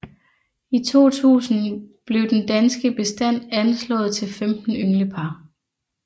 I 2000 blev den danske bestand anslået til 15 ynglepar